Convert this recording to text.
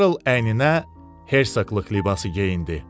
Karl əyninə hersoqlıq libası geyindi.